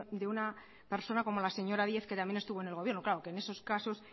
de una persona como la señora díez que también estuvo en el gobierno claro que en esos casos